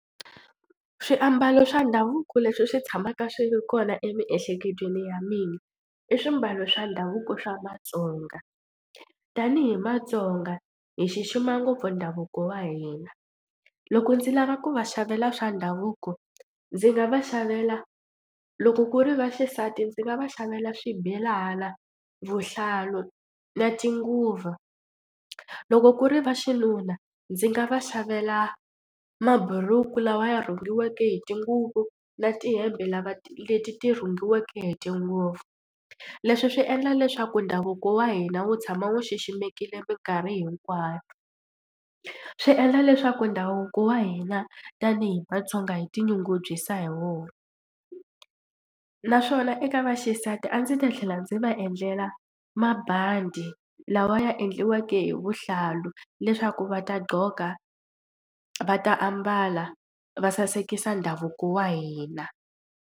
Swiambalo swa ndhavuko leswi swi tshamaka swi ri kona emiehleketweni ya mina i swimbalo swa ndhavuko swa Vatsonga tanihi matsonga hi xixima ngopfu ndhavuko wa hina. Loko ndzi lava ku va xavela swa ndhavuko ndzi nga va xavela loko ku ri va xisati ndzi nga va xavela swibelana, vuhlalu na tinguva. Loko ku ri va xinuna ndzi nga va xavela maburuku lawa ya rhungiweke hi tinguvu na tihembe lava leti ti rhungiweke hi tinguvu. Leswi swi endla leswaku ndhavuko wa hina wu tshama wu xiximekile mikarhi hinkwayo swi endla leswaku ndhavuko wa hina tanihi Vatsonga hi tinyungubyisa hi wona naswona eka vaxisati a ndzi ta tlhela ndzi va endlela mabandi lawa ya endliweke hi vuhlalu leswaku va ta gqoka va ta ambala va sasekisa ndhavuko wa hina.